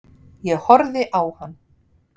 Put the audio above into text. Ég horfði á hann.